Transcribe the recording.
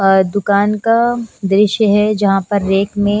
अ दुकान का दृश्य है जहां पर रेक में--